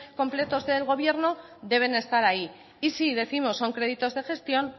completos del gobierno deben estar ahí y si décimos son créditos de gestión